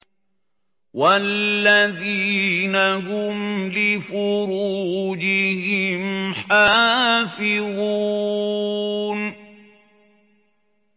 وَالَّذِينَ هُمْ لِفُرُوجِهِمْ حَافِظُونَ